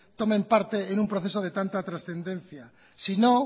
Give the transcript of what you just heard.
tomen parte en un proceso de tanta trascendencia si no